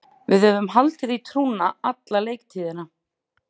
Við höfum haldið í trúna alla leiktíðina.